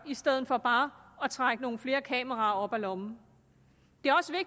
i stedet for bare at trække nogle flere kameraer op af lommen